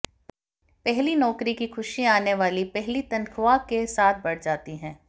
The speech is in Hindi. पहली नौकरी की खुशी आने वाली पहली तनख़्वाह के साथ बड़ जाती है